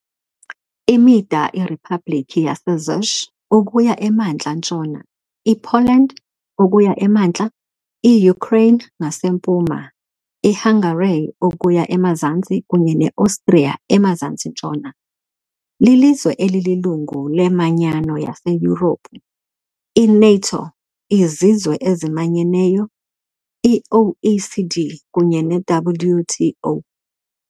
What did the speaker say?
Imida iRiphabhlikhi yaseCzech ukuya emantla-ntshona, iPoland ukuya emantla, iUkraine ngasempuma, iHungary ukuya emazantsi kunye neOstriya emazantsi-ntshona. Lilizwe elililungu leManyano yaseYurophu, i-NATO, iZizwe eziManyeneyo, i-OECD kunye neWTO .